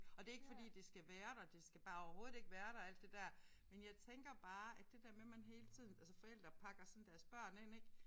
Og det er ikke fordi det skal være der det skal bare overhovedet ikke være der alt det der men jeg tænker bare at det der med men hele tiden altså forældre pakker sådan deres børn ind ik